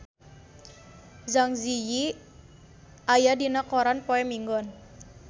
Zang Zi Yi aya dina koran poe Minggon